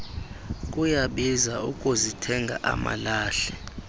kuyabiza ukuzithenga amalahle